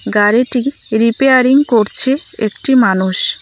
গাড়িটি রিপেয়ারিং করছে একটি মানুষ।